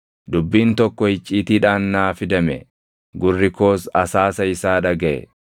“Dubbiin tokko icciitiidhaan naa fidame; gurri koos asaasa isaa dhagaʼe.